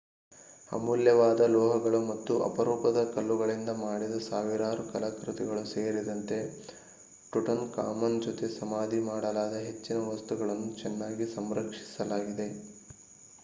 ಅಮೂಲ್ಯವಾದ ಲೋಹಗಳು ಮತ್ತು ಅಪರೂಪದ ಕಲ್ಲುಗಳಿಂದ ಮಾಡಿದ ಸಾವಿರಾರು ಕಲಾಕೃತಿಗಳು ಸೇರಿದಂತೆ ಟುಟನ್‌ಖಾಮನ್ ಜೊತೆಗೆ ಸಮಾಧಿ ಮಾಡಲಾದ ಹೆಚ್ಚಿನ ವಸ್ತುಗಳನ್ನು ಚೆನ್ನಾಗಿ ಸಂರಕ್ಷಿಸಲಾಗಿದೆ